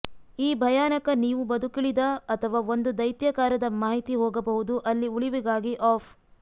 ಈ ಭಯಾನಕ ನೀವು ಬದುಕುಳಿದ ಅಥವಾ ಒಂದು ದೈತ್ಯಾಕಾರದ ಮಾಹಿತಿ ಹೋಗಬಹುದು ಅಲ್ಲಿ ಉಳಿವಿಗಾಗಿ ಆಫ್